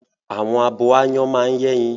Àwọn abo áyán máa ń yẹ́yin